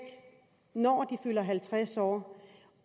når de fylder halvtreds år